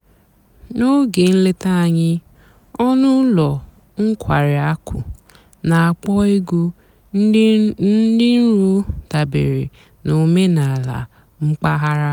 n'óge ǹlétá ànyị́ ọ̀nú́ ụ́lọ́ ǹkwàrí àkụ́ nà-àkpọ́ ègwú dị́ ǹrò dàbèré nà òménàlà m̀pàghàrà.